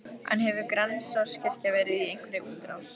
En hefur Grensáskirkja verið í einhverri útrás?